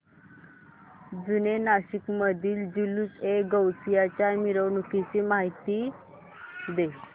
जुने नाशिक मधील जुलूसएगौसिया च्या मिरवणूकीची मला माहिती दे